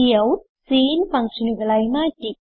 cout sin ഫങ്ഷനുകളായി മാറ്റി